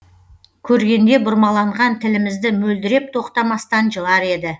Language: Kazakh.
көргенде бұрмаланған тілімізді мөлдіреп тоқтамастан жылар еді